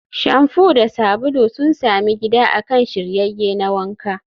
Shamfu da sabulu sun sami gida akan shiryayye na wanka.